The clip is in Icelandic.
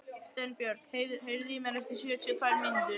Steinbjörg, heyrðu í mér eftir sjötíu og tvær mínútur.